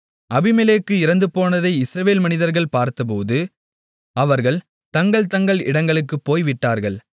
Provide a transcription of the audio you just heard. அபிமெலேக்கு இறந்துபோனதை இஸ்ரவேல் மனிதர்கள் பார்த்தபோது அவர்கள் தங்கள்தங்கள் இடங்களுக்குப் போய் விட்டார்கள்